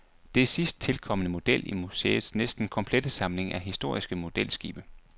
Det er sidst tilkomne model i museets næsten komplette samling af historiske modelskibe.